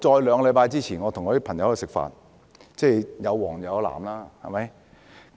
兩個星期前我和朋友吃飯，其中有"黃"有"藍"。